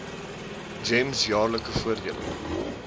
gems jaarlikse voordele